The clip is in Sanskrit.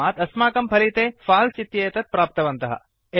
तस्मात् अस्माकं फलिते फाल्स् इत्येतत् प्राप्तवन्तः